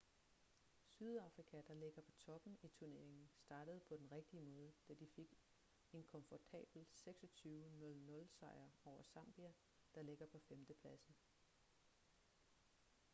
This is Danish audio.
sydafrika der ligger på toppen i turneringen startede på den rigtige måde da de fik en komfortabel 26 00 sejr over zambia der ligger på 5. pladsen